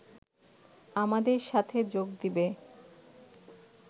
আমাদের সাথে যোগ দিবে